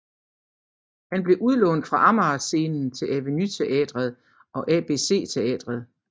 Han blev udlånt fra Amager Scenen til Aveny Teatret og ABC Teatret